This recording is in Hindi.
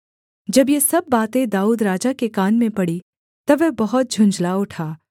जब ये सब बातें दाऊद राजा के कान में पड़ीं तब वह बहुत झुँझला उठा